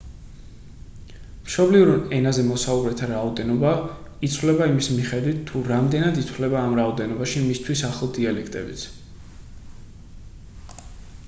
მშობლიურ ენაზე მოსაუბრეთა რაოდენობა იცვლება იმის მიხედვით თუ რამდენად ითვლება ამ რაოდენობაში მისთვის ახლო დიალექტებიც